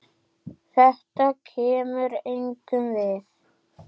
Þetta kemur engum við.